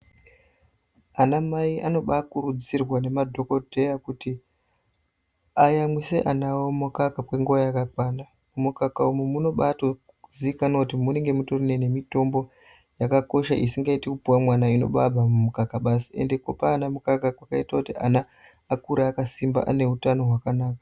Anamai anobakurudzirwa nemadhokodheya kuti ayamwise ana awo mukaka kwenguwa yakakwana. Mumukaka umu munobatozikanwa kuti mune nemitombo yakakosha isingaiti kupuwa mwana inobabva mumukaka basi ende kupa ana mukaka kwakaita kuti akure akasimba ane utano hwakanaka.